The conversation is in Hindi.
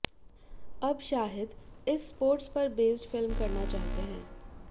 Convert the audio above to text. अब शाहिद इस स्पोर्ट्स पर बेस्ड फिल्म करना चाहते हैं